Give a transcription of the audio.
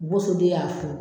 Bo so de y'a